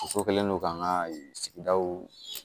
Muso kɛlen don k'an ka sigidaw